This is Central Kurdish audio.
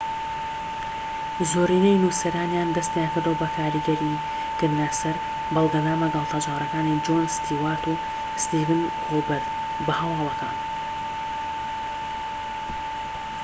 زۆرینەی نوسەرانیان دەستیان کردووە بە کاریگەریکردنە سەر بەرنامە گاڵتەجاڕیەکانی جۆن ستیوارت و ستیڤن کۆڵبەرت بە هەواڵەکان